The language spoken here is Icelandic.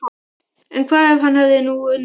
En hvað ef hann hefur nú unnið?